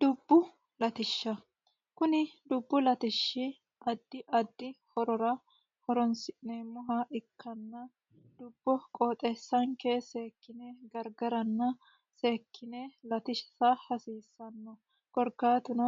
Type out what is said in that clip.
Dubbu latishsha kuni dubbu latishshi addi addi horora horonsi'neemmoha ikkanna dubbo qooxxeessanke seekkine gargaranna seekkine latissa hasiisano korkaatuno